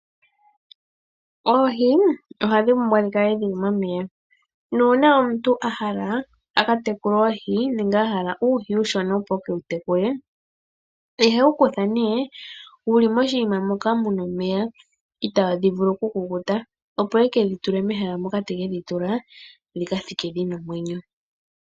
Oohi ohadhi monika ngele dhili momeya nuuna omuntu a hala a ka tekule oohi nenge a hala uuhi uushona opo e ke wu tekule ,ohe wu kutha nee wuli moshiima mpoka muna omeya itaadhi vulu oku kukuta opo yeke dhi tule mehala mpoka teke dhi tula, dhika thike dhina omwenyo.